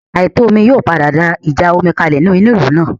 Àìtò omi yóò padà dá ìjà omi kalẹ̀ nínú ìlú náà